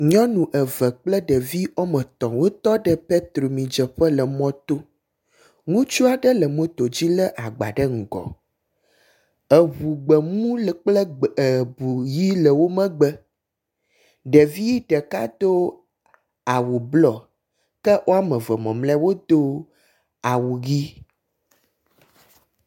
Nyɔnu eve kple ɖevi woame etɔ̃ wo tɔ ɖe petrol midzeƒe le mɔ to, ŋutsu aɖe le moto dzi le agba ɖe ŋgɔ. Eʋu gbemu le kple eʋu ɣi le wo megbe, ɖevi ɖeka do awu blɔ ke woameve mamle wodo awu ɣi.